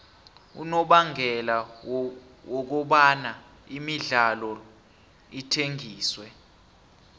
unobangela wokobana imidlalo ithengiswe